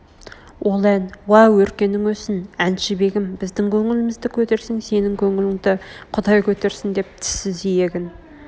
ол ән уа өркенің өссін әншбегім біздің көңілімізді көтерсең сенің көңіліңді құдай көтерсін деп тіссіз иегін